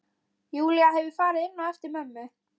Júlía hefur farið inn á eftir mömmu.